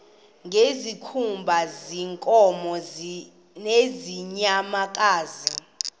ngezikhumba zeenkomo nezeenyamakazi